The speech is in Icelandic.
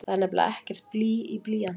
Það er nefnilega ekkert blý í blýanti!